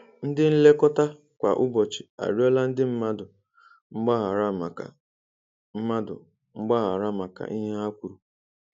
Ndị nlekota kwa ụbọchị arịọla ndị mmadụ mgbaghara maka mmadụ mgbaghara maka ihe ha kwuru